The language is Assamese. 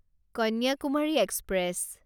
কন্যাকুমাৰী এক্সপ্ৰেছ